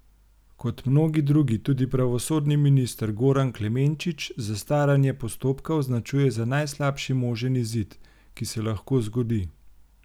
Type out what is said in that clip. Kot mnogi drugi tudi pravosodni minister Goran Klemenčič zastaranje postopka označuje za najslabši možen izid, ki se lahko zgodi.